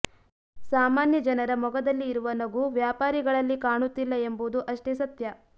ಸಾಮಾನ್ಯ ಜನರ ಮೊಗದಲ್ಲಿ ಇರುವ ನಗು ವ್ಯಾಪಾರಿಗಳಲ್ಲಿ ಕಾಣುತ್ತಿಲ್ಲ ಎಂಬುದು ಅಷ್ಟೇ ಸತ್ಯ